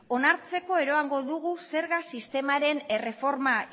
onartzeko eroango dugu zerga sistemaren erreforma